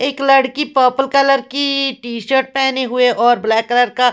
एक लडकी purple colour की टी शर्ट पहने हुए और ब्लैक कलर का--